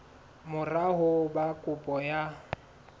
mora ho ba kopo ya